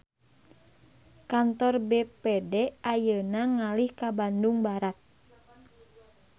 Kantor BPD ayeuna ngalih ka Bandung Barat